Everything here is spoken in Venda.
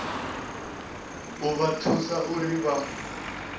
u vha thusa uri vha